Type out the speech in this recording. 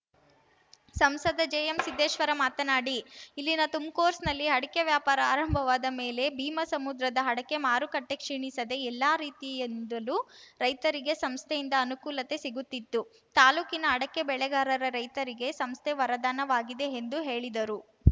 ಸಂಸದ ಜೆಎಂ ಸಿದ್ದೇಶ್ವರ ಮಾತನಾಡಿ ಇಲ್ಲಿನ ತುಮ್‌ಕೋಸ್‌ನಲ್ಲಿ ಅಡಕೆ ವ್ಯಾಪಾರ ಆರಂಭವಾದ ಮೇಲೆ ಭೀಮಸಮುದ್ರದ ಅಡಕೆ ಮಾರುಕಟ್ಟೆಕ್ಷೀಣಿಸದೆ ಎಲ್ಲ ರೀತಿಯಿಂದಲೂ ರೈತರಿಗೆ ಸಂಸ್ಥೆಯಿಂದ ಅನುಕೂಲತೆ ಸಿಗುತ್ತಿತ್ತು ತಾಲೂಕಿನ ಅಡಕೆ ಬೆಳೆಗಾರ ರೈತರಿಗೆ ಸಂಸ್ಥೆ ವರದಾನ ವಾಗಿದೆ ಎಂದು ಹೇಳಿದರು